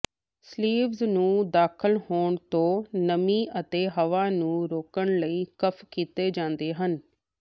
sleeves ਨੂੰ ਦਾਖਲ ਹੋਣ ਤੋਂ ਨਮੀ ਅਤੇ ਹਵਾ ਨੂੰ ਰੋਕਣ ਲਈ ਕਫ਼ ਕੀਤੇ ਜਾਂਦੇ ਹਨ